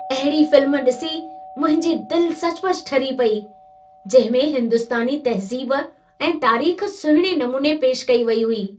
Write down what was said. अहिड़ी फ़िल्म ॾिसी मुंहिंजी दिलि सचुपचु ठरी पेई, जंहिं में हिंदुस्तानी तहज़ीब ऐं तारीख़ सुहिणे नमूने पेशि कई वेई हुई।